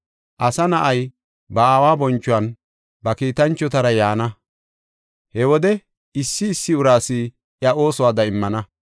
Asa na7ay ba aawa bonchuwan ba kiitanchotara yaana. He wode issi issi uraas iya oosuwada immana.